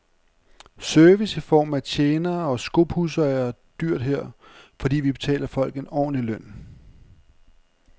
Service i form af tjenere og skopudsere er dyrt her, fordi vi betaler folk en ordentlig løn.